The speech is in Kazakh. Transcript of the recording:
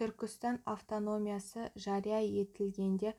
түркістан автономиясы жария етілгенде